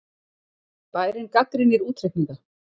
Bærinn gagnrýnir útreikninga